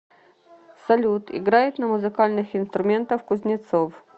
салют играет на музыкальных инструментах кузнецов